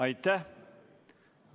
Aitäh!